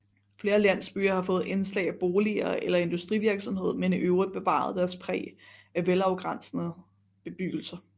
Flere landsbyer har fået indslag af boliger eller industrivirksomhed men i øvrigt bevaret deres præg af velafgrænsede bebyggelser